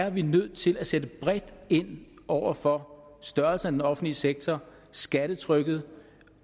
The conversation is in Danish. at vi er nødt til at sætte bredt ind over for størrelsen af den offentlige sektor skattetrykket